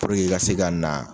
Puruke i ka se ka na